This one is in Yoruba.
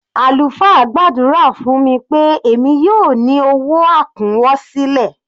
Àlùfáà gbàdúrà fún mi pé èmi yóò ní owó àkúnwọsílẹ̀.